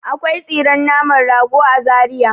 Akwai tsiren naman rago a Zariya.